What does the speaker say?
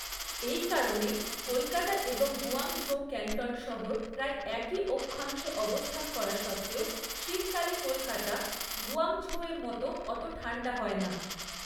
এই কারণে, কলকাতা এবং গুয়াংঝৌ ক্যান্টন শহর প্রায় একই অক্ষাংশে অবস্থান করা সত্ত্বেও শীতকালে কলকাতা গুয়াংঝৌ এর মত অত ঠান্ডা হয় না।